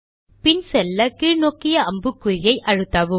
பின் செல்ல கீழ் நோக்கிய அம்புக்குறி விசையை அழுத்தலாம்